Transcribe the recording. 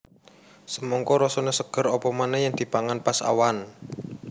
Semangka rasané seger apa manéh yèn dipangan pas awan